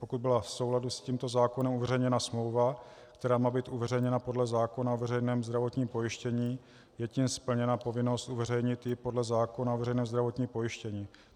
Pokud byla v souladu s tímto zákonem uveřejněna smlouva, která má být uveřejněna podle zákona o veřejném zdravotním pojištění, je tím splněna povinnost uveřejnit ji podle zákona o veřejném zdravotním pojištění.